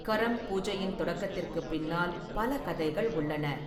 கரம் பூஜையின் தொடக்கத்திற்குப் பின்னால் பல கதைகள் உள்ளன.